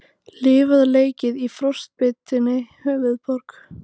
Lifað og leikið í frostbitinni höfuðborg